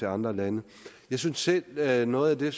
andre lande jeg synes selv at noget af det